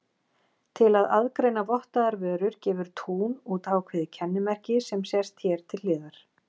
Til að aðgreina vottaðar vörur gefur Tún út ákveðið kennimerki sem sést hér til hliðar.